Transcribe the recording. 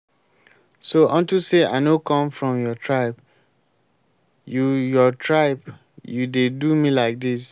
so unto say i no come from your tribe you your tribe you dey do me like dis